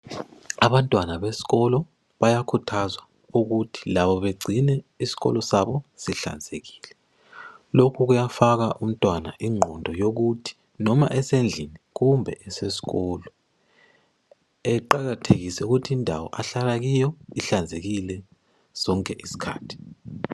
Abantwana besikolo bayakhuthazwa ukuthi labo begcine isikolo sabo sihlanzekile. Lokhu kuyafaka umntwana ingqondo yokuthi noma esendlini kumbe esesikolo eqakathekise ukuthi indawo ahlala kiyo ihlanzekile sonke isikhathi.